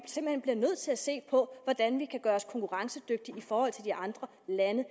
simpelt hen nødt til at se på hvordan vi kan gøre os konkurrencedygtige i forhold til andre lande